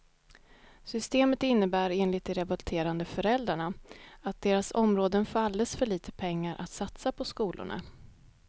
Systemet innebär enligt de revolterande föräldrarna att deras områden får alldeles för lite pengar att satsa på skolorna.